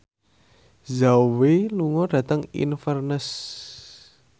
Zhao Wei lunga dhateng Inverness